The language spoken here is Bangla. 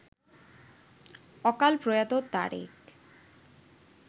অকালপ্রয়াত তারেক